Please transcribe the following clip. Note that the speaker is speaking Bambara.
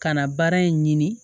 Ka na baara in ɲini